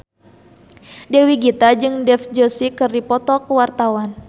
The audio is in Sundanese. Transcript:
Dewi Gita jeung Dev Joshi keur dipoto ku wartawan